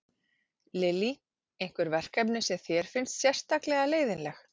Lillý: Einhver verkefni sem þér finnst sérstaklega leiðinleg?